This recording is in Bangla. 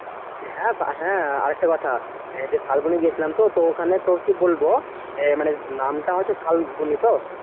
হ্যাঁ হ্যাঁ আরেকটা কথা এই যে শালবনি গেছিলাম তো তো ওখানে তোর কি বলবো মানে নামটা হচ্ছে শালবনি তো?